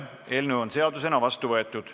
Eelnõu on seadusena vastu võetud.